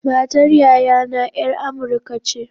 Matar yayana ’yar amurka ce.